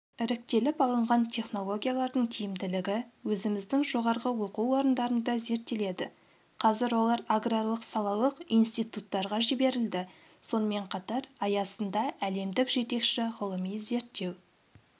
іріктеліп алынған технологиялардың тиімділігі өзіміздің жоғарғы оқу орындарында зерттеледі қазір олар аграрлық-салалық институттарға жіберілді сонымен қатар аясында әлемдік жетекші ғылыми-зерттеу